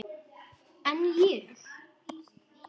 En ég?